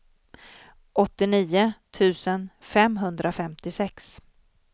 åttionio tusen femhundrafemtiosex